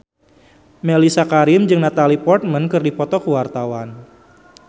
Mellisa Karim jeung Natalie Portman keur dipoto ku wartawan